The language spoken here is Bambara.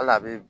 Hali a bɛ